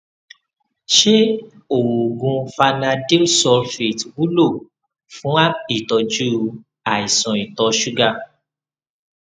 ṣé oògùn vanadyl sulfate wúlò fún ìtọjú àìsàn ìtọ ṣúgà